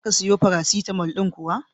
Za ka siyo farasitalmo ɗin kuwa?